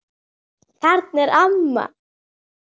Þarna er amma!